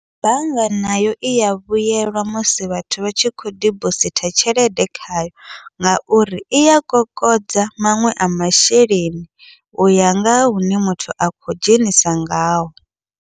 Bannga nayo iya vhuyelwa musi vhathu vha tshi khou dibositha tshelede khayo, ngauri iya kokodza maṅwe a masheleni uya ngaha hune muthu a khou dzhenisa ngaho.